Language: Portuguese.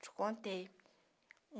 Te contei.